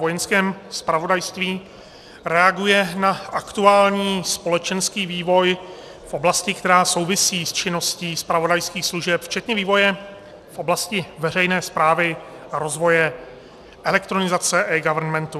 Vojenském zpravodajství reaguje na aktuální společenský vývoj v oblasti, která souvisí s činností zpravodajských služeb, včetně vývoje v oblasti veřejné správy a rozvoje elektronizace, eGovernmentu.